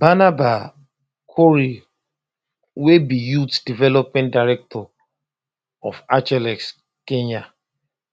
barnaba korir wey be youth development director of athletics kenya